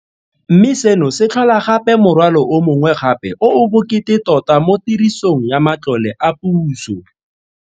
Mme seno se tlhola gape morwalo o mongwe gape o o bokete tota mo tirisong ya matlole a puso.